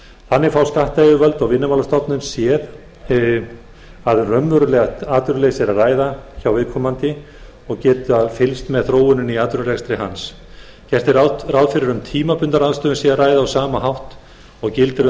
þannig fá skattyfirvöld og vinnumálastofnun séð að um raunverulegt atvinnuleysi sé að ræða hjá viðkomandi og geta fylgst með þróuninni í atvinnurekstri hans gert er ráð fyrir að um tímabundna ráðstöfun sé að ræða á sama hátt og gildir um